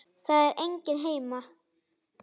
Það er enginn heima.